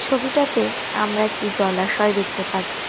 ছবিটাতে আমরা একটি জলাশয় দেখতে পাচ্ছি।